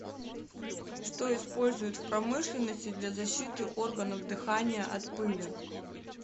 что используют в промышленности для защиты органов дыхания от пыли